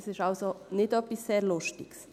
Es ist also nicht etwas sehr Lustiges.